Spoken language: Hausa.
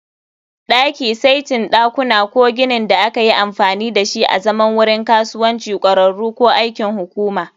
Daki, saitin ɗakuna, ko ginin da aka yi amfani da shi azaman wurin kasuwanci, ƙwararru, ko aikin hukuma